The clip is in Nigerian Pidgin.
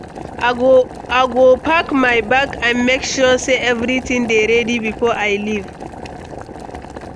I go pack my bag and make sure say everything dey ready before I leave.